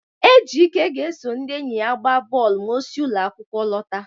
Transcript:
Ejike ga-eso ndị enyi ya gbaa bọọlụ ma o si ụlọ akwụkwọ lọta.